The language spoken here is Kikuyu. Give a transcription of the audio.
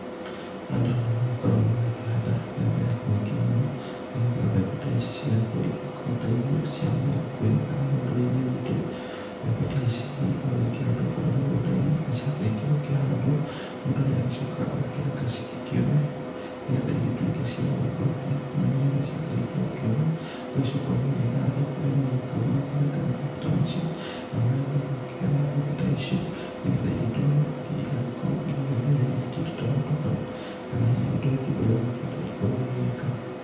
Andũ nĩ magĩkoragwo magĩkĩhanda mbembe nyingĩ mũno, nĩgetha mbembe ta ici cigagĩkorwo igĩgĩkorwo ta irio cia mũgĩkũyũ kana rũrĩrĩ-inĩ rwitũ. Mbembe ta ici nĩ igĩkoragwo ikĩhandwo kũrĩa mĩgũnda-inĩ, na ciakĩrĩkia gũkĩhandwo, mũndũ nĩ agĩcokaga agakĩreka cigĩkĩũme, nĩgetha igĩtuĩke cia gũgĩkũra biũ, na nĩ getha ciakĩrĩkia gũkĩũma, ũgagĩcoka ũgagĩetha andũ arĩa magĩũkaga magakĩrenga mabebe ta macio, na magagĩkorwo magĩkĩgetha mbembe ta icio nĩgetha igĩtwarwo ithiĩ igagĩkorwo igĩgĩthĩa hihi kĩndũ ta mũtu kana hihi ũndũ ũngĩ ũrĩa ũgũkĩenda ikorwo igĩgĩka.